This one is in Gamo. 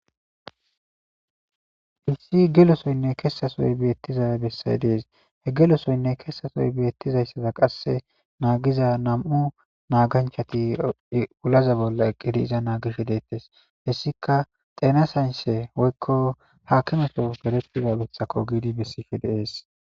Issi gelosoynne keesasooy beettizae bessay dees he gelosoynne kessasoy beettizayssada qasse naagiza nam'u naaganchati ulaza bolla eqqidi iza naagish deettes hessika teenasanse woykko haakimato beretiba bithako giidi bessife deees.